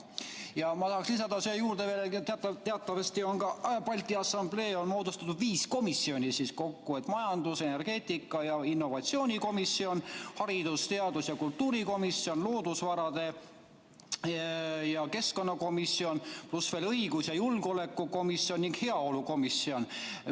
Ja ma tahaks lisada siia juurde veel, et teatavasti on Balti Assamblees moodustatud kokku viis komisjoni: majandus‑, energeetika‑ ja innovatsioonikomisjon; haridus‑, teadus‑ ja kultuurikomisjon; loodusvarade ja keskkonnakomisjon; õigus‑ ja julgeolekukomisjon ning heaolukomisjon.